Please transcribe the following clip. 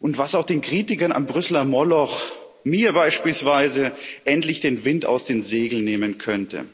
und das auch den Kritikern am Brüsseler Moloch, mir beispielsweise, endlich den Wind aus den Segeln nehmen könnte.